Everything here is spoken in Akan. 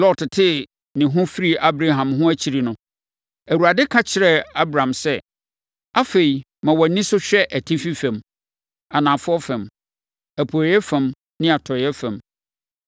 Lot tee ne ho firii Abram ho akyiri no, Awurade ka kyerɛɛ Abram sɛ, “Afei, ma wʼani so hwɛ atifi fam, anafoɔ fam, apueeɛ fam ne atɔeɛ fam.